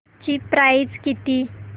ची प्राइस किती